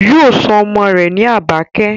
Yóò sọ ọmọ rẹ̀ ní Àbákẹ́